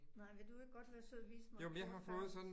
Nej, vil du ikke godt være sød at vise mig noget først